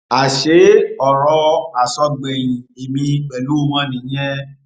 àṣé ọrọ àsọgbẹyìn ẹmí pẹlú wọn nìyẹn